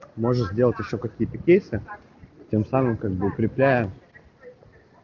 можешь сделать ещё какие кейсы тем самым как бы укрепляя